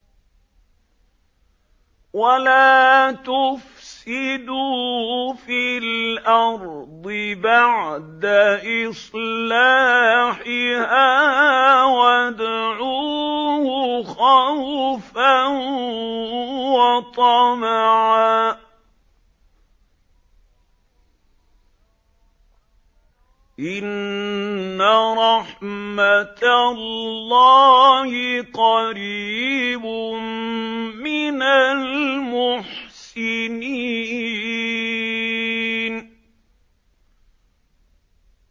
وَلَا تُفْسِدُوا فِي الْأَرْضِ بَعْدَ إِصْلَاحِهَا وَادْعُوهُ خَوْفًا وَطَمَعًا ۚ إِنَّ رَحْمَتَ اللَّهِ قَرِيبٌ مِّنَ الْمُحْسِنِينَ